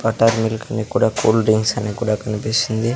Butter milk అని కూడా cool drinks అని కూడా కన్పిస్తుంది.